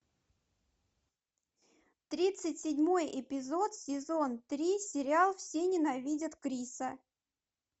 тридцать седьмой эпизод сезон три сериал все ненавидят криса